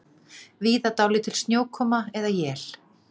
Víða dálítil snjókoma eða él